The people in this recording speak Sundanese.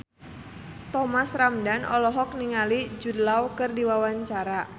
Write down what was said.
Thomas Ramdhan olohok ningali Jude Law keur diwawancara